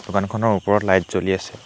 দোকানখনৰ ওপৰত লাইট জ্বলি আছে।